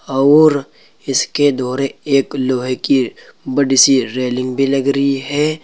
और इसके दौरे एक लोहे की बड़ी सी रेलिंग भी लग रही है।